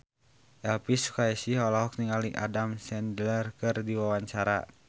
Elvy Sukaesih olohok ningali Adam Sandler keur diwawancara